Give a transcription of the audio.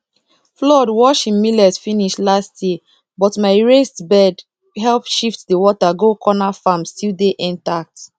flood wash him millet finish last year but my raised bed help shift the water go cornerfarm still dey intact